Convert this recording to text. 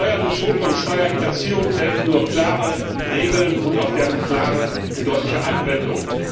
Gegen Steuerbetrug und Steuerhinterziehung helfen nur klare Regeln und auch deren klare und deutliche Anwendung.